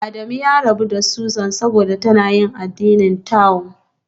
Adamu ya rabu da Susan saboda tana yin addinin Tao